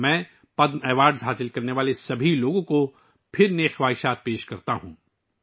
میں ایک بار پھر پدم ایوارڈ حاصل کرنے والے سبھی لوگوں کو اپنی نیک خواہشات پیش کرتا ہوں